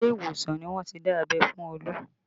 Ile ìwòsàn ni wọ́n ti dá abẹ́ fún Olu